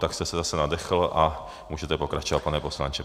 Tak jste se zase nadechl a můžete pokračovat, pane poslanče.